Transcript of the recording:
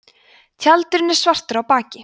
tjaldurinn er svartur á baki